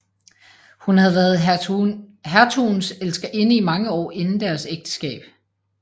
Hun havde været hertugens elskerinde i mange år inden deres ægteskab